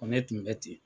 Ko ne tun bɛ ten